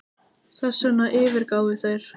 Þessvegna yfirgáfu þeir